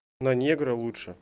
на негра лучше